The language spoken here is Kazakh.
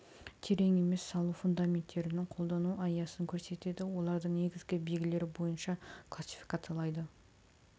терең емес салу фундаментінің қолдану аясын көрсетеді олардың негізгі белгілері бойынша классификациялайды